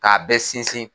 K'a bɛɛ sinsin